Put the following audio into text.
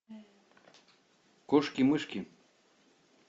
кошки мышки